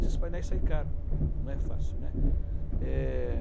Esses painéis saem caros, não é fácil, né. Eh...